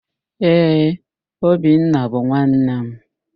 Ee, Obinna bụ nwanne m.